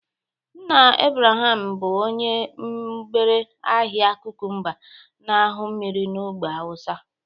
Nna Ibrahim bụ onye mgbere ahịa kụkụmba na aṅyu mmiri n'ogbe awụsa